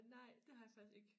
Nej det har jeg faktisk ikke